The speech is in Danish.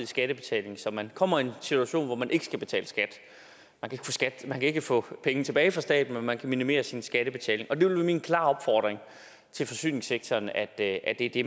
skattebetaling så man kommer i en situation hvor man ikke skal betale skat man kan ikke få penge tilbage fra staten men man kan minimere sin skattebetaling og det vil være min klare opfordring til forsyningssektoren at det